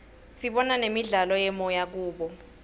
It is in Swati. sibona nemidlalo yemoya kubo